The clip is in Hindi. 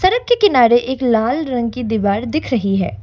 सड़क के किनारे एक लाल रंग की दीवार दिख रही है।